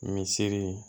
Misiri